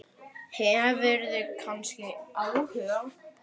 Hefurðu kannski áhuga?